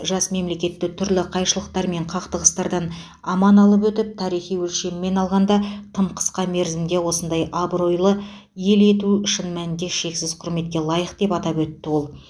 жас мемлекетті түрлі қайшылықтар мен қақтығыстардан аман алып өтіп тарихи өлшеммен алғанда тым қысқа мерзімде осындай абыройлы ел ету шын мәнінде шексіз құрметке лайық деп атап өтті ол